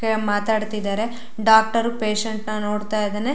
K ಮಾತಾಡತ್ತಿದರೆ doctor patient ನ ನೋಡತ್ತಾ ಇದಾನೆ.